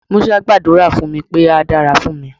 Musa gbàdúrà fún mi pé á dára fún mi.